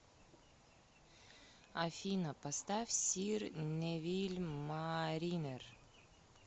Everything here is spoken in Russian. афина поставь сир невиль маринер